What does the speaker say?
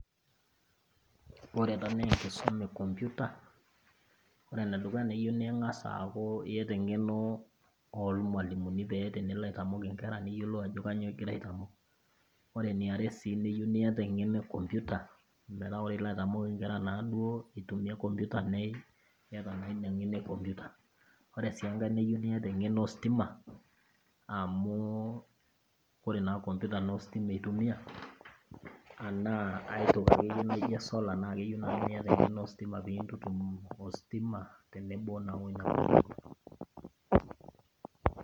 Ore enaa naa enkisuma ee computer. Ore ene dukuya naa keyieu ning'as akuu iyata eng'eno olmualimuni pee tenelo ataimok inkera neyiolo ajo kainyoo egira aitamok. Ore eniare sii nayieu niyata eng'eno ee computer meeta ore ilo aitamok inkera naaduo itimia computer niyata naa ina ng'eno ee computer. Ore sii enkae neyieu niyata eng'eno ositima amuu oree na computer nas ositima itumia anaa aitokii nai naijo esola neku keyieu naji niyata eng'eno ositima pintutum ositima tenebo nas weina computer.